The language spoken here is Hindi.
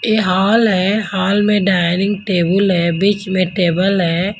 ये हॉल है हॉल में डाइनिंग टेबल है बीच में टेबल है।